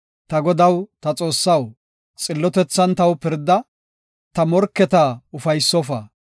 Ta Godaw, ta Xoossaw, xillotethan taw pirda; ta morketa ufaysofa.